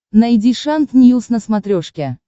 найди шант ньюс на смотрешке